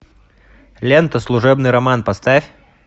лента служебный роман поставь